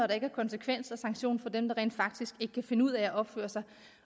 der ikke er konsekvenser og sanktioner for dem der rent faktisk ikke kan finde ud af at opføre sig